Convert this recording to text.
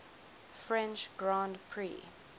french grand prix